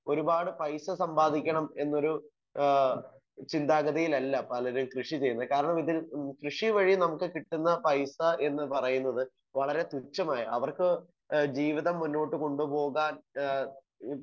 Speaker 1 ഒരുപാട് പൈസ സമ്പാദിക്കണം എന്നൊരു ഏഹ് ചിന്താഗതിയിലല്ല പലരും കൃഷി ചെയ്യുന്നത്. കാരണം ഇതൊരു കൃഷി വഴി നമുക്ക് കിട്ടുന്ന പൈസ എന്ന് പറയുന്നത് വളരെ തുച്ഛമായ അവർക്ക് ഏഹ് ജീവിതം മുന്നോട്ട് കൊണ്ട് പോവാൻ ഏഹ് ഏഹ്